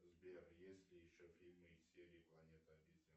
сбер есть ли еще фильмы из серии планета обезьян